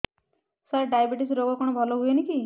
ସାର diabetes ରୋଗ କଣ ଭଲ ହୁଏନି କି